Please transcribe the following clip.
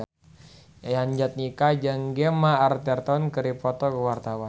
Yayan Jatnika jeung Gemma Arterton keur dipoto ku wartawan